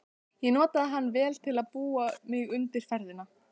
Ég notaði hann vel til að búa mig undir ferðina.